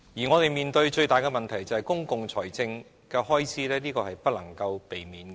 我們面對的最大問題是公共財政的開支，這是不能避免的。